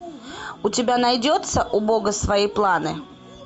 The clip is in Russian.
у тебя найдется у бога свои планы